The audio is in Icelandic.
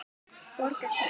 Borga sekt?